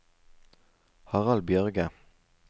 Harald Bjørge